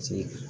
Ci